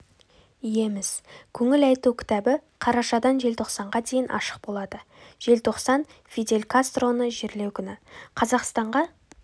иеміз көңіл айту кітабы қарашадан желтоқсанға дейін ашық болады желтоқсан фидель кастроны жерлеу күні қазақстанға